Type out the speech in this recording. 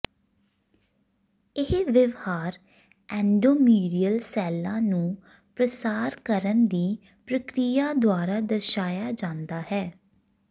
ਇਹ ਵਿਵਹਾਰ ਐਂਡੋਮੀਰੀਅਲ ਸੈੱਲਾਂ ਨੂੰ ਪ੍ਰਸਾਰ ਕਰਨ ਦੀ ਪ੍ਰਕਿਰਿਆ ਦੁਆਰਾ ਦਰਸਾਇਆ ਜਾਂਦਾ ਹੈ